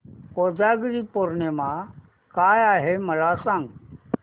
कोजागिरी पौर्णिमा काय आहे मला सांग